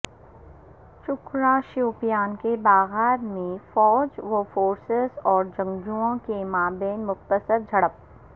چکورہ شوپیان کے باغات میں فوج و فورسز اور جنگجوئوں کے مابین مختصر جھڑپ